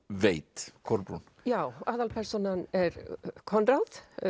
veit Kolbrún já aðalpersónan er Konráð